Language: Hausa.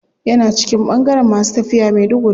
Yana cikin bangaren masu tafiya maiduguri.